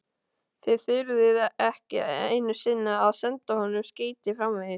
Þið þyrftuð ekki einu sinni að senda honum skeyti framvegis.